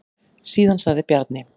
Síðan sagði Bjarni: